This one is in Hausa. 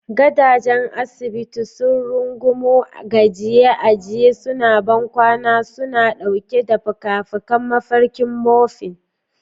Gadajen asibiti sun rungumo gajiye a gajiye suna bankwana suna ɗauke da fikafikan mafarkin morphine.